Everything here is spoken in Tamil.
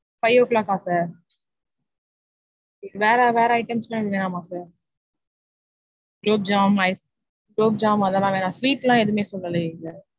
five o'clock கா sir வேற வேற items லாம் எதுவும் வேணாமா sir? குளோப் ஜாம் ice குளோப் ஜாம் அதெல்லாம் வேணா. sweet லா எதுவுமே சொல்லலையே sir.